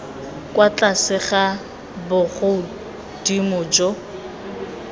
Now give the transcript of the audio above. kwa tlase ga bogodimo jo